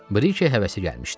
Brike həvəsi gəlmişdi.